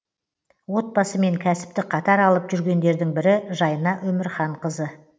отбасы мен кәсіпті қатар алып жүргендердің бірі жайна өмірханқызы